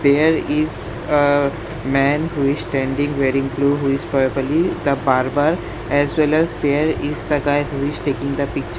There is a man who is standing wearing blue who is probably the barber as well as there is the guy who is taking the pictu --